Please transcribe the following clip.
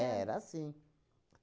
É, era assim.